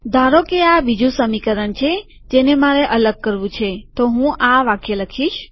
ધારોકે આ બીજું સમીકરણ છે જેને મારે અલગ કરવું છેતો હું આ વાક્ય લખીશ